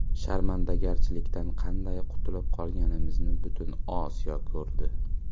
Sharmandagarchilikdan qanday qutulib qolganimizni butun Osiyo ko‘rdi.